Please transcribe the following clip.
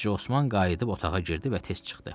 Hacı Osman qayıdıb otağa girdi və tez çıxdı.